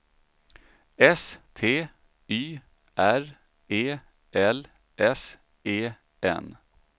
S T Y R E L S E N